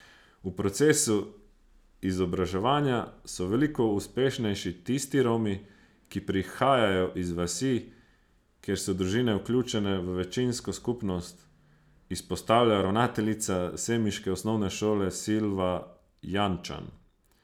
V procesu izobraževanja so veliko uspešnejši tisti Romi, ki prihajajo iz vasi, kjer so družine vključene v večinsko skupnost, izpostavlja ravnateljica semiške osnovne šole Silva Jančan.